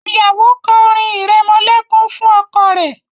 Ìyàwó kò orin iremolekun fún ọkọ rẹ.